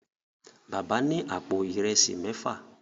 Bàbá ní àpò Ìrẹsí méfà.